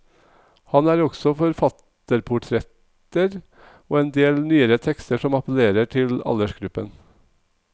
Her er også forfatterportretter og en del nyere tekster som appellerer til aldersgruppen.